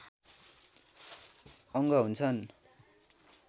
अङ्ग हुन्छन्